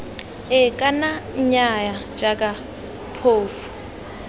ee kana nnyaya jaaka phofu